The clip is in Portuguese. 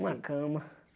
Uma cama.